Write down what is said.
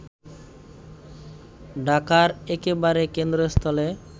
ঢাকার একেবারে কেন্দ্রস্থলে